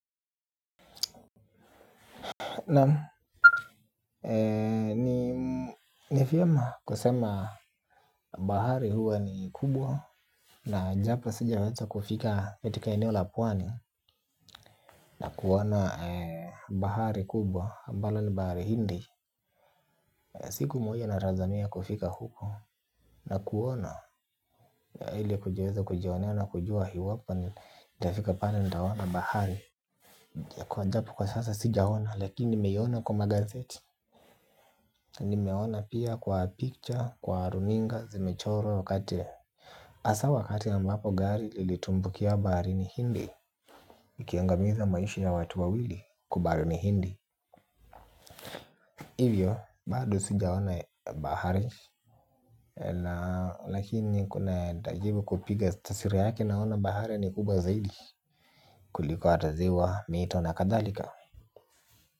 Naam ni vyema kusema bahari huwa ni kubwa na japo sijaweza kufika katika eneo la pwani na kuona bahari kubwa ambalo ni bahari hindi siku moja natazamia kufika huko na kuona ili kujiweza kujionea na kujua iwapo nitafika pale nitaona bahari ijapo kwa sasa sijaona lakini nimeiona kwa magazeti. Nimeona pia kwa picture kwa runinga zimechorwa wakati hasa wakati ambapo gari lilitumbukia baharini hindi ikiangamiza maisha ta watu wawili kwa baharini hindi. Hivyo bado sijaona bahari. Lakini kuna nitajibu kupiga tasiri yake naona bahari ni kubwa zaidi kuliko hata ziwa mito na kadhalika.